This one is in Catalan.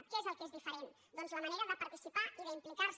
què és el que és diferent doncs la manera de participar i d’implicar se